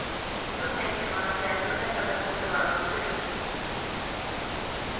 Då tänker man att det är så lätt att det måste vara något lurt.